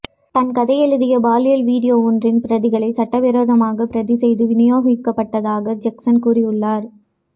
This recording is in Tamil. தான் கதை எழுதிய பாலியல் வீடியோ ஒன்றின் பிரதிகளை சட்டவிரோதமாக பிரதிசெய்து விநியோகிக்கப்பட்டதாக ஜெக்ஸைன் கூறியுள்ளார்